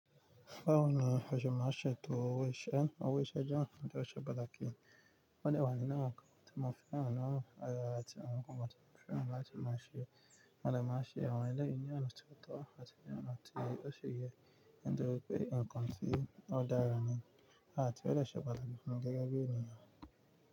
Báwo ni aṣọ má a ṣe tó ówe iṣẹ́ ẹ́, ówe iṣẹ́ jẹ́ ohun tó ṣe pàtàkì. Ó dẹ̀ wà nínú rẹ̀ kí ọmọ fẹ́ràn á, àti àwọn nǹkan tí ọmọ fẹ́ràn láti máa ṣe. Ò dẹ̀ máa ṣe àwọn eléyìí yí ọ̀nà tó tọ́ àti ní ọ̀nà tí ó ṣe é yí ń dúró pé nǹkan tí ó dára ni, à ti ó lè ṣe pàtàkì fún gẹ́gẹ́ bí ènìyàn.